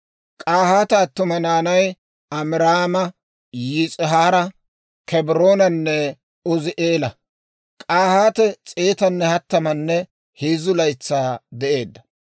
K'ahaate attuma naanay Amiraama, Yis'ihaara, Kebroonanne Uzi'eela. K'ahaate s'eetanne hattamanne heezzu laytsaa de'eedda.